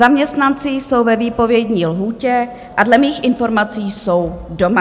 Zaměstnanci jsou ve výpovědní lhůtě a dle mých informací jsou doma.